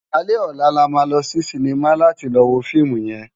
Álé òlá là má lò si sinimá láti lò wó fiimú yèn